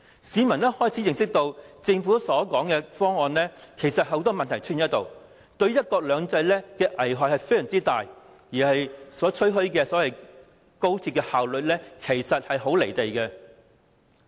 市民逐漸明白，政府提出的方案存在眾多問題，對"一國兩制"亦有很大危害，當中吹噓的高鐵效率亦與事實不符。